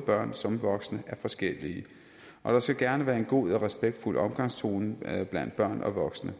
børn som voksne er forskellige og der skal gerne være en god og respektfuld omgangstone blandt børn og voksne